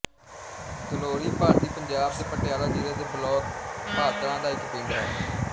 ਗਲੌਲੀ ਭਾਰਤੀ ਪੰਜਾਬ ਦੇ ਪਟਿਆਲਾ ਜ਼ਿਲ੍ਹੇ ਦੇ ਬਲਾਕ ਪਾਤੜਾਂ ਦਾ ਇੱਕ ਪਿੰਡ ਹੈ